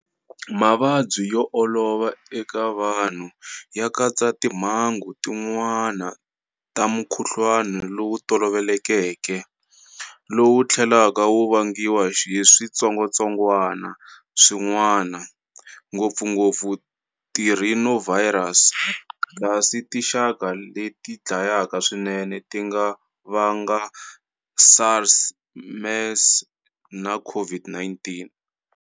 Mavabyi yo olova eka vanhu ya katsa timhangu tin'wana ta mukhuhlwana lowu tolovelekeke, lowu tlhelaka wu vangiwa hi switsongwatsongwana swin'wana, ngopfungopfu tirhinovirus, kasi tinxaka leti dlayaka swinene ti nga vanga SARS, MERS na COVID-19.